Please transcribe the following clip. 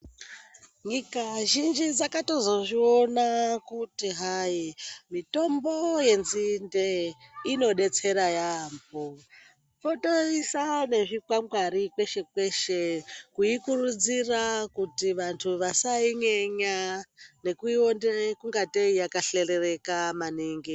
Nyika zhinji dzakatozozviona kuti hai mitombo yenzinde inodetsera yaamho. Kutoisa nezvikwangwari kweshe kweshe kuikurudzira kuti vantu vasainyenya nekuiona ingatei yakahlelerereka maningi.